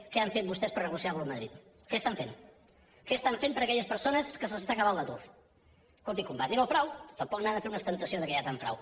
què han fet vostès per a negociar lo amb madrid què estan fent què estan fent per a aquelles persones que se’ls està acabant l’atur escolti combatin el frau tampoc n’ha de fer una ostentació que hi ha tant frau